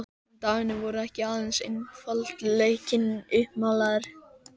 En dagarnir voru ekki aðeins einfaldleikinn uppmálaður.